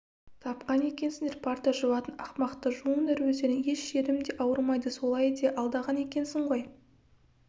тапқан екенсіңдер парта жуатын ақымақты жуыңдар өздерің еш жерім де ауырмайды солай де алдаған екенсің ғой